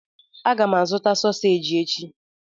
Aga m azụta soseji echi.